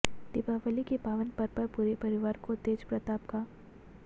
दीपावली के पावन पर्व पर पूरे परिवार को तेजप्रताप का